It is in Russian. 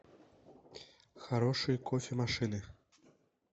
хорошие кофе машины